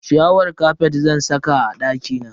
Ciyawar kafet zan saka a dakina.